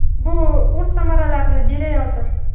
Bu o‘z samaralarini berayotir.